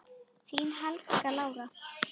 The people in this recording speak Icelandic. Þín, Helga Lára.